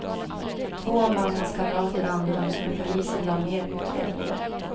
Två av mannens kamrater anhölls men polisen lade ner utredningen.